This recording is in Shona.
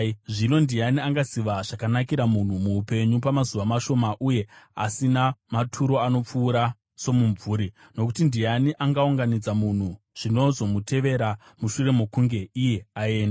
Zvino ndiani angaziva zvakanakira munhu muupenyu, pamazuva mashoma uye asina maturo anopfuura somumvuri? Nokuti ndiani angaudza munhu zvinozomutevera mushure mokunge iye aenda?